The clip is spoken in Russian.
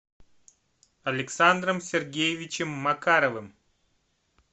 александром сергеевичем макаровым